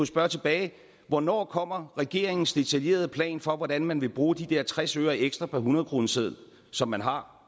spørge tilbage hvornår kommer regeringens detaljerede plan for hvordan man vil bruge de der tres øre ekstra per hundredkroneseddel som man har